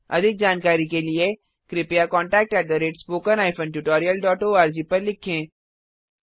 अधिक जानकारी के लिए कृपया contactspoken tutorialorg पर लिखें